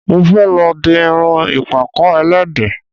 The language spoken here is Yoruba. Mo fẹ́ lọ di irun ìpàkọ́ ẹlẹ́dẹ̀